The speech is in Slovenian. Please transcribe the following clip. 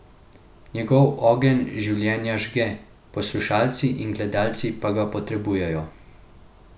Njegov ogenj življenja žge, poslušalci in gledalci pa ga potrebujejo.